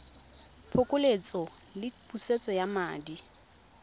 phokoletso le pusetso ya madi